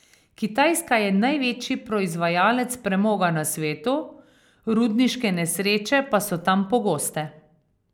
Kitajska je največji proizvajalec premoga na svetu, rudniške nesreče pa so tam pogoste.